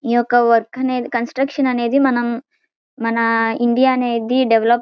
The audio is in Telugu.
ఈ యొక్క వర్క్ అనేది కన్స్ట్రక్షన్ అనేది మనం మన ఇండియా అనేది డెవలప్ --